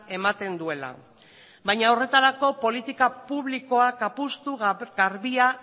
ematen duela baina horretarako politika publikoak apustu garbia